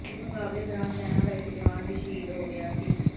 ਇਸ ਮੁਕਾਬਲੇ ਦੌਰਾਨ ਸੈਨਾ ਦਾ ਇੱਕ ਜਵਾਨ ਵੀ ਸ਼ਹੀਦ ਹੋ ਗਿਆ ਸੀ